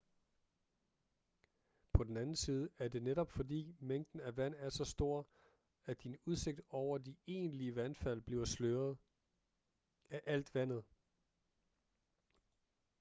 på den anden side er det netop fordi mængden af vand er så stor at din udsigt over de egentlige vandfald bliver sløret-af alt vandet